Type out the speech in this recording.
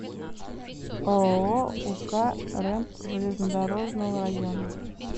ооо ук рэмп железнодорожного района